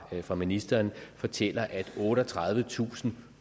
fra ministeren fortæller at otteogtredivetusind